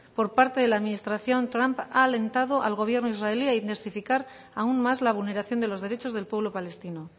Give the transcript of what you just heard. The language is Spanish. por parte de la administración trump ha alentado al gobierno israelí a intensificar aún más la vulneración de los derechos del pueblo palestino